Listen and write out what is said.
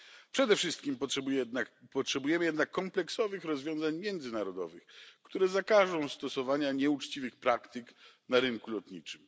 Przede wszystkim potrzebujemy jednak kompleksowych rozwiązań międzynarodowych, które zakażą stosowania nieuczciwych praktyk na rynku lotniczym.